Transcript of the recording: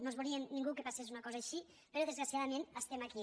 no volíem ningú que passés una cosa així però desgraciadament estem aquí